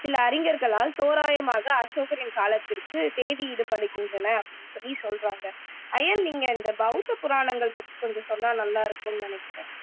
சில அறிஞர்களால் தோராயமாக அசோகரின் காலத்திற்குத் தேதியிடப்படுகின்றன அப்படின்னு சொல்லி சொல்றாங்க ஐயன் நீன் இந்த பௌத்த புறாணங்கள் பத்தி கொஞ்சம் சொன்னா நல்லா இருக்கும்னு நினைக்குறேன்